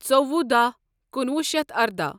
ژوٚوُہ داہ کنوُہ شتھ ارداہ۔